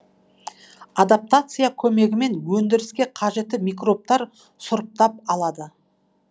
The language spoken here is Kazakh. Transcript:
адаптация көмегімен өндіріске қажетті микробтарды сұрыптап алады